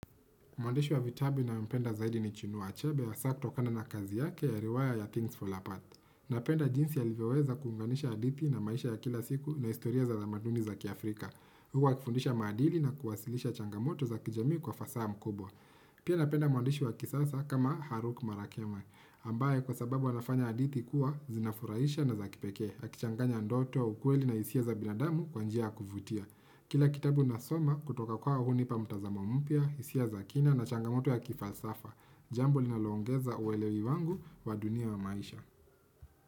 Mwandishi wa vitabu ninayempenda zaidi ni Chinua Achabe, hasa kutokana na kazi yake ya riwaya ya Things for Apart. Napenda jinsi alivyoweza kuunganisha hadithi na maisha ya kila siku na historia za tamaduni za kiafrika. Huwa ikifundisha maadili na kuwasilisha changamoto za kijamii kwa fasaha ya mkupuo. Pia napenda mwandishi kisasa kama Haruki Murakami. Ambaye kwa sababu anafanya hadithi kuwa zinafuraisha na za kipekee akichanganya ndoto ukweli na hisia za binadamu kwa njia ya kuvutia. Kila kitabu nasoma kutoka kwao hunipa mtazama mpya, hisia za kina na changamoto ya kifalsafa. Jambo linaloongeza uelewi wangu wa dunia ya maisha.